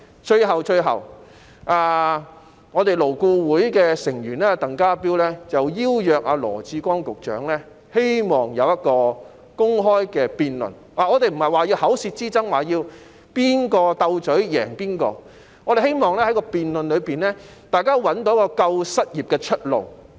最後，勞工顧問委員會的成員鄧家彪希望邀請羅致光局長進行公開辯論，我們不是要作口舌之爭，也不是要在"鬥嘴"中分勝負，而是希望在辯論中找到"救失業"的出路。